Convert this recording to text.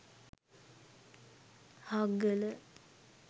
hakgala